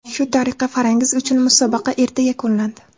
Shu tariqa Farangiz uchun musobaqa erta yakunlandi.